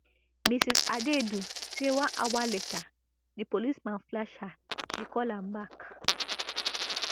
mrs adaidu say one hour later di policeman flash her she call am back